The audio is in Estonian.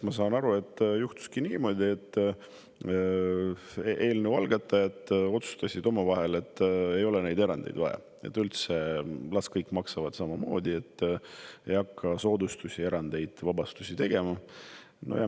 Ma saan aru, et juhtus niimoodi, et eelnõu algatajad otsustasid omavahel, et erandeid ei ole vaja, las kõik maksavad ühtemoodi, ei hakka soodustusi, erandeid ega vabastusi tegema.